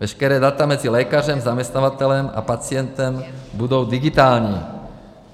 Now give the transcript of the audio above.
Veškerá data mezi lékařem, zaměstnavatelem a pacientem budou digitální.